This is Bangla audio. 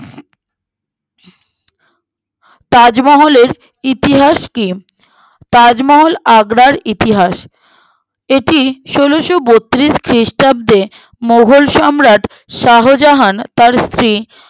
তাজমহলের ইতিহাস কি তাজমহল আগ্রার ইতিহাস এটি ষোলোবোত্রিশ খ্রিস্টাব্দে মোঘল সম্রাট শাহজাহান তার স্ত্রী